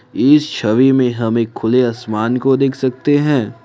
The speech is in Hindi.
इस छवि में हम एक खुले आसमान को देख सकते हैं।